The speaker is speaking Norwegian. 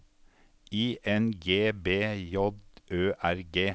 I N G B J Ø R G